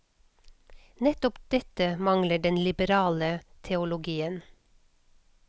Nettopp dette mangler den liberale teologien.